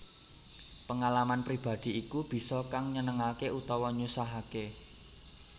Pengalaman pribadi iku bisa kang nyenengake utawa nyusahake